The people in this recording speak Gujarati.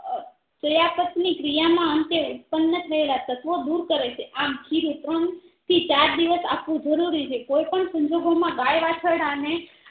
તેયાપાટ ની ક્રિયા માં અંતે ઉત્ત્પન થયેલા તત્તવો દૂર કરે છે આમ ખીરું ત્રણ થી ચાર દિવસ આપવું જરૂરી છે કોઈપણ સંજોગો માં ગાય વાછરડાને